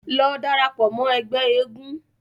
Lọ darapọ̀ mọ́ ẹgbẹ́ eégún.